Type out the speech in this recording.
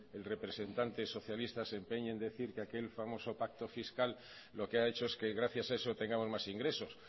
el representante socialista se empeñe en decir que aquel famoso pacto fiscal lo que ha hecho es que gracias a eso tengamos más ingresos